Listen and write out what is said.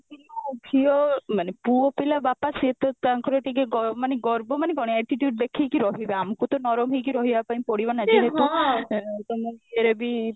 ଯଉ ଝିଅ ମାନେ ପୁଅପିଲା ବାପା ସେ ତ ତାଙ୍କର ଟିକେ ଗ ମାନେ ଗର୍ବ ମାନେ କଣ attitude ଦେଖେଇକି ରହିବା ଆମକୁ ତ ନରହିକି ରହିବା ପାଇଁ ପଡିବ ନା ଯେହେତୁ ତ ମୁଁ ଇଏ ରେ ବି